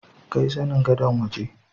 Kai zanin Gadon waje.